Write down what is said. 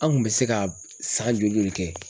An kun bɛ se ka san joli joli kɛ?